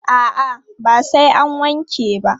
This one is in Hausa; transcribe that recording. A'a, ba sai an wanke ba.